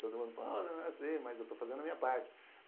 Todo mundo fala, não vai ser, mas eu estou fazendo a minha parte.